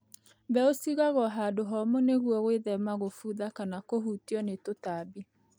Mbeũ cigagwo handũ homũ nĩguo gwĩthema gũbutha kana kũhutio nĩ tũtambi.